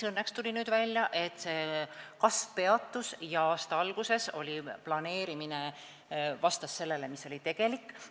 Õnneks tuli välja, et kasv peatus ja aasta alguses planeeritu vastas sellele, mis oli tegelik vajadus.